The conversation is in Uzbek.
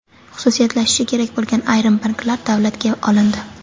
Xususiylashishi kerak bo‘lgan ayrim banklar davlatga olindi.